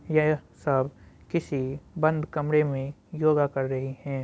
यह सब किसी बंद कमरे में योगा कर रही हैं।